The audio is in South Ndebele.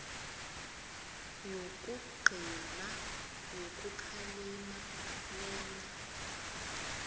yokugcina yokukhalima lena